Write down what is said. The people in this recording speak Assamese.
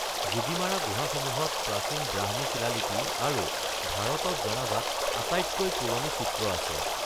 যোগীমাৰা গুহাসমূহত প্ৰাচীন ব্ৰাহ্মী শিলালিপি আৰু ভাৰতত জনাজাত আটাইতকৈ পুৰণি চিত্ৰ আছে।